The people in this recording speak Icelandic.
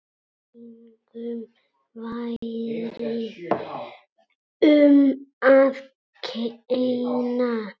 Engum væri um að kenna.